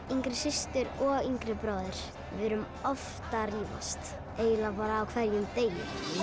yngri systur og yngri bróður við erum oft að rífast eiginlega á hverjum degi